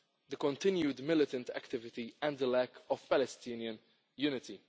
Gaza, the continued militant activity and the lack of Palestinian unity.